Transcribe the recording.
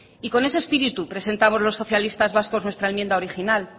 y con ese espíritu presentamos los socialistas vascos nuestra enmienda original